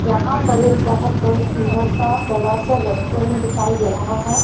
यहां पर एक बहोत बहुत सुंदर सा बड़ा सा रेस्टोरेंट दिखाई दे रहा है।